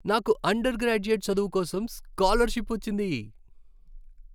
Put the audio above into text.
నాకు undergraduate చదువు కోసం స్కాలర్షిప్ వచ్చింది.